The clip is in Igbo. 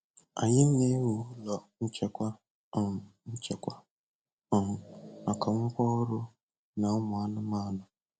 Anyị na-ewu ụlọ nchekwa um nchekwa um maka ngwa ọrụ na ụmụ anụmanụ.